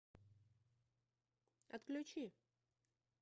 отключи